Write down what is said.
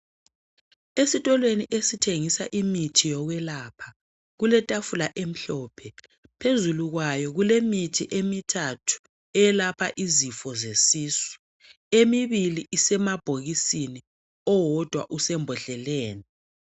Esitolweni esithengisa imithi yokwelapha kuletafula emhlophe. Phezulu kwayo kulemithi emithathu eyelapha izifo zesisu. Emibili isemabhokisini, owodwa usembodleleni.